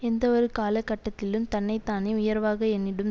எந்தஒரு காலகட்டத்திலும் தன்னை தானே உயர்வாக எண்ணிடும்